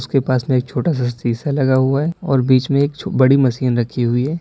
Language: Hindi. उसके पास में एक छोटा सा शीशा लगा हुआ है और बीच में एक बड़ी मशीन रखी हुई है।